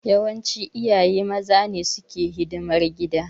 Yawanci iyaye maza ne suke hidimar gida.